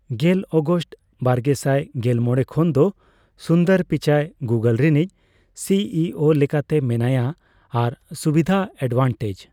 ᱜᱮᱞ ᱚᱜᱚᱥᱴ ᱵᱟᱨᱜᱮᱥᱟᱭ ᱮᱞᱢᱚᱲᱮ ᱠᱷᱚᱱ ᱫᱚ ᱥᱩᱱᱫᱚᱨ ᱯᱤᱪᱟᱭ ᱜᱩᱜᱚᱞ ᱨᱤᱱᱤᱡ ᱥᱤᱹᱤᱹᱚ ᱞᱮᱠᱟᱛᱮ ᱢᱮᱱᱟᱭᱟᱡᱟᱭ ᱟᱨ ᱥᱩᱵᱤᱫᱷᱟᱮᱰᱷᱮᱴᱟᱡᱽ